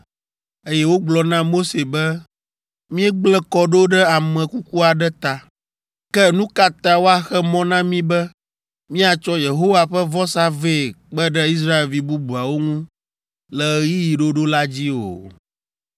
eye wogblɔ na Mose be, “Míegblẽ kɔ ɖo ɖe ame kuku aɖe ta, ke nu ka ta woaxe mɔ na mí be míatsɔ Yehowa ƒe vɔsa vɛ kpe ɖe Israelvi bubuawo ŋu le ɣeyiɣi ɖoɖo la dzi o?”